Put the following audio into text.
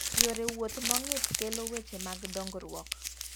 Yore wuoth mongith kelo weche mag dongruok.